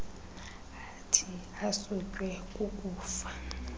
athi asutywe kukufa